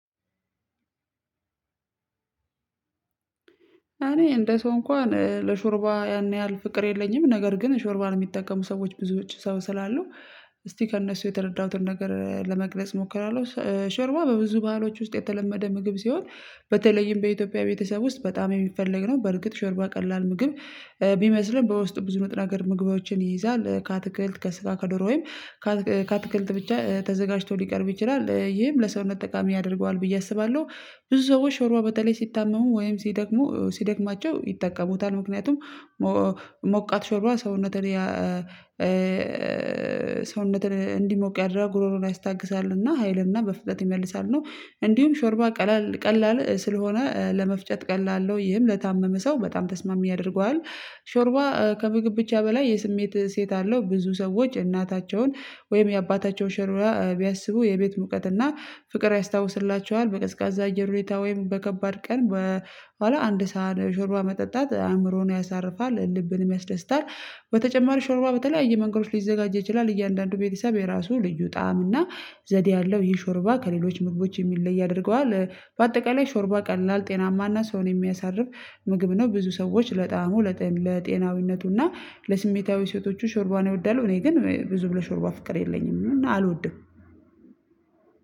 አኔ እንደ ሰው እንኳን ለሾርባ ያን ያህል ፍቅር የለኝም ነገር ግን ሾርባን የሚጠቀሙ ሰዎች ብዙ ውጪ ሰው ስላሉ። እስቲ ከእነሱ የተረዳሁትን ነገር ለመግለጽ ሞክራለሁ ሾርባ በብዙ ባህሎች ውስጥ የተለመደ ምግብ ሲሆን በተለይም በኢትዮጵያ ቤተሰብ ውስጥ በጣም የሚፈለግ ነው በርግጥ ሾርባ ቀላል ምግብ ቢመስልም በውስጡ ብዙ ነገር ምግባዎችን ይይዛል ከአትክልት ከስጋ ከዶሮ ወይም ከአትክልት ብቻ ተዘጋጅቶ ሊቀርብ ይችላል ይህም ለሰውነት ጠቃሚ ያደርገዋል ብዬ አስባለሁ። ብዙ ሰዎች ሾርባ በተለይ ሲታመሙ ወይም ሲደክሙ ሲደክማቸው ይጠቀሙታል ምክንያቱም ሞቃት ሾርባ ሰውነትን ሰውነትን እንዲሞቅ ያደርጋል ጉሮሮን ያስታግሳልና ሀይልና በፍጥነት ይመልሳል። እና እንዲሁም ሾርባ ቀላል ቀላል ስለሆነ ለመፍጨት ቀላል አለው ይህም ለታመመ ሰው በጣም ተስማሚ ያደርገዋል። ሾርባ ከምግብ ብቻ በላይ የስሜት እሴት አለው ብዙ ሰዎች እናታቸውን ወይም የአባታቸው ሾርባ ቢያስቡ የቤት ሙቀት እና ፍቅር ያስታውስላቸዋል በቀዝቃዛ አየር ወይም በከባድ ቀን በኋላ አንድ ሳህን ሾርባ መጠጣት አእምሮን ያሳርፋል ልብንም ያስደስታል። በተጨማሪ ሾርባ በተለያየ መንገዶች ሊዘጋጅ ይችላል እያንዳንዱ ቤተሰብ የራሱ ልዩ ጣዕም እና ዘዴ አለው ይህ ሾርባ ከሌሎች ምግቦች የሚለይ ያደርገዋል በአጠቃላይ ሾርባ ቀላል ጤናማና ሰውን የሚያሳርፍ ምግብ ነው። ብዙ ሰዎች ለጣሙ ለጤናዊነቱና ለስሜታዊ ሴቶቹ ሾርባን ይወዳሉ እኔ ግን ብዙም ለሾርባ ፍቅር የለኝም አልወድም።